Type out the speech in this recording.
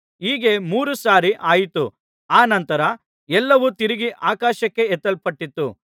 ಹೀಗೆ ಮೂರು ಸಾರಿ ಆಯಿತು ಅನಂತರ ಎಲ್ಲವೂ ತಿರುಗಿ ಆಕಾಶಕ್ಕೆ ಎತ್ತಲ್ಪಟ್ಟಿತು